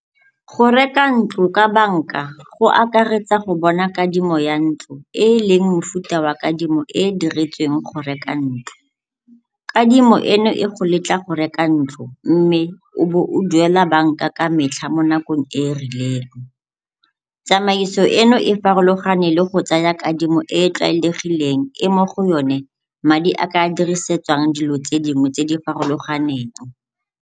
Go reka ntlo ka banka go akaretsa go bona kadimo ya ntlo e e leng mofuta wa kadimo e e diretsweng go reka ntlo. Kadimo eno e go letla go reka ntlo mme o bo o duela banka ka metlha mo nakong e e rileng. Tsamaiso eno e farologane le go tsaya kadimo e e tlwaelegileng e mo go yone madi a ka dirisetswang dilo tse dingwe tse di farologaneng.